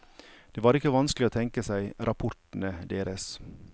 Det var ikke vanskelig å tenke seg rapportene deres.